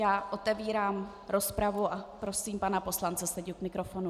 Já otevírám rozpravu a prosím pana poslance Seďu k mikrofonu.